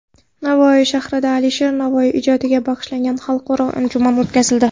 Navoiy shahrida Alisher Navoiy ijodiga bag‘ishlangan xalqaro anjuman o‘tkazildi.